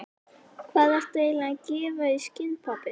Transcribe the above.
Hvað ertu eiginlega að gefa í skyn, pabbi?